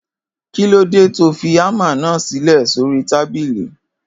Kilode tọ fí àmá nà sílẹ sòrí tàbílì?